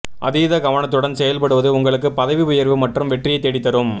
அதீத கவனத்துடன் செயல்படுவது உங்களுக்கு பதவி உயர்வு மற்றும் வெற்றியைத் தேடித்தரும்